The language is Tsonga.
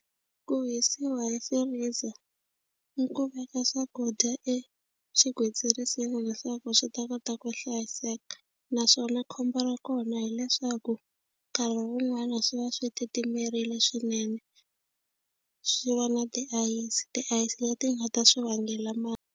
Ku hisiwa hi freezer i ku veka swakudya exigwitsirisi leswaku swi ta kota ku hlayiseka naswona khombo ra kona hileswaku nkarhi wun'wani swi va swi titimerile swinene swi va na tiayisi tiayisi leti nga ta swi vangela .